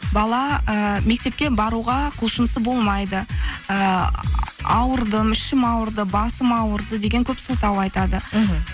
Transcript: бала ііі мектепке баруға құлшынысы болмайды ыыы ауырдым ішім ауырды басым ауырды деген көп сылтау айтады іхі